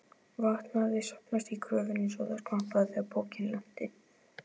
Vatn hafði safnast í gröfina svo skvampaði þegar pokinn lenti.